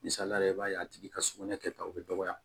Misalila i b'a ye a tigi ka sugunɛ kɛtaw be dɔgɔya